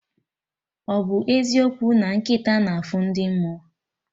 Ọbụ eziokwu na nkịta na afụ ndị mmụọ?